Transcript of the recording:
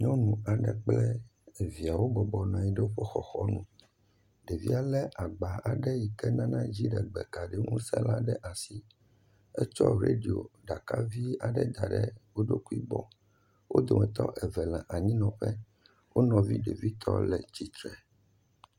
Nyɔnu aɖe kple evia wo bɔbɔnɔ anyi ɖe woƒe xɔxɔnu, ɖevia lé agba yi ke nana dziɖegbekaɖiŋusẽ la ɖe asi, etsɔ radio ɖaka vi aɖe da ɖe wo ɖokui gbɔ. Wo dometɔ eve le anyinɔƒe wo nɔvi ɖevitɔ le tsitre.